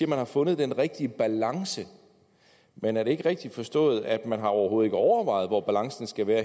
man har fundet den rigtige balance men er det ikke rigtigt forstået at man overhovedet overvejet hvor balancen skal være